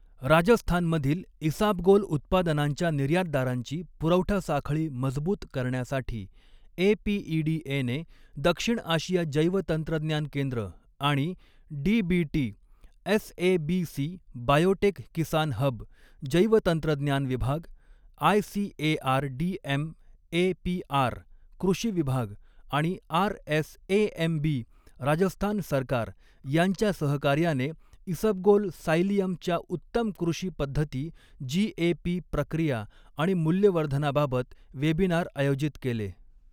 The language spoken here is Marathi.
राजस्थानमधील इसाबगोल उत्पादनांच्या निर्यातदारांची पुरवठा साखळी मजबूत करण्यासाठी ए पी ई डी एने दक्षिण आशिया जैवतंत्रज्ञान केंद्र आणि DBT S A B C biotech Kisan hub, जैवतंत्रज्ञान विभाग, I C A R D M A P R, कृषी विभाग आणि R S A M B, Rajasthan सरकार यांच्या सहकार्याने इसबगोल सायलियम च्या उत्तम कृषी पद्धती जी ए पी, प्रक्रिया आणि मूल्यवर्धनाबाबत वेबिनार आयोजित केले.